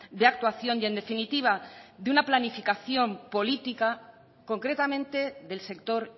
de actuación y en definitiva de una planificación política concretamente del sector